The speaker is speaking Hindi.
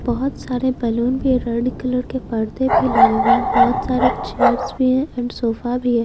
बहुत सारे बैलून भी है रेड कलर के पर्दे भी लगे हुए है बहुत सारे चेयर्स भी हैं एंड सोफा भी है।